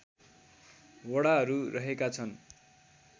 वडाहरू रहेका छन्